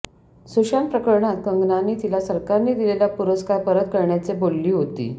सुशांत प्रकरणात कंगनाने तिला सरकारने दिलेला पुरस्कार परत करण्याचे बोलली होती